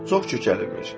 Çox kökəlmiş.